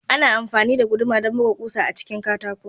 Ana amfani da guduma don buga ƙusa a cikin katako.